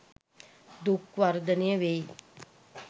දුක් වර්ධනය වෙයි.